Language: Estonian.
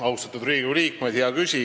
Austatud Riigikogu liikmed!